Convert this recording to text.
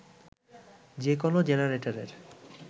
যে কোন জেনারেটরের